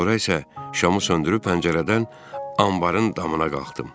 Sonra isə şamı söndürüb pəncərədən anbarın damına qalxdım.